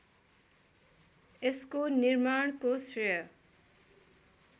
यसको निर्माणको श्रेय